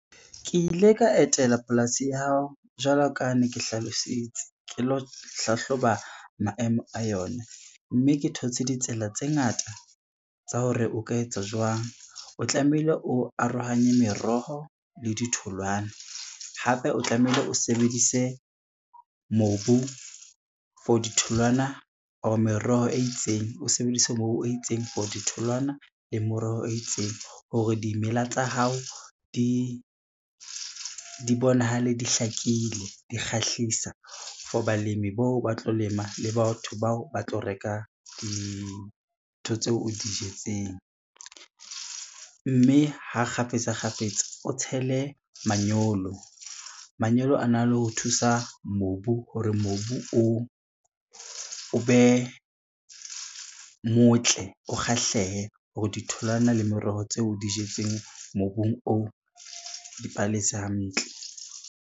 Ke ile ka etela polasi ya hao jwalo ka ne ke hlalositse ke lo hlahloba maemo a yona, mme ke thotse ditsela tse ngata tsa hore o ka etsa jwang. O tlamehile o arohanye meroho le di tholwana, hape o tlamehile o sebedise mobu for ditholwana or meroho e itseng, o sebedise mobu o itseng for ditholwana le meroho e itseng, hore dimela tsa hao di bonahale di hlakile, di kgahlisa for balemi bao ba tlo lema le batho bao ba tlo reka dintho tseo o di jetseng. Mme ha kgafetsa kgafetsa o tshele manyolo, manyolo a na le ho thusa mobu hore mobu o be motle, o kgahlehe hore ditholwana le meroho tseo o di jetseng mobung oo dipalese hantle.